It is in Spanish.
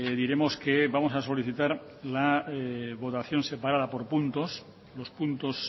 diremos que vamos a solicitar la votación separada por puntos los puntos